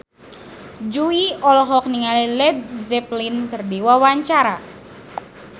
Jui olohok ningali Led Zeppelin keur diwawancara